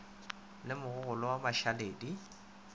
le mogogolwa wa mašaledi di